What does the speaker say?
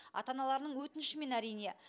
ата аналарының өтінішімен әрине